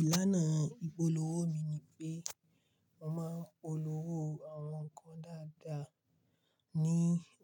Ìlànà ìpolówó mi ni pé mo máa ń polówó àwọn nǹkan dáadáa ní